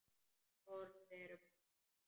Orð eru bara orð.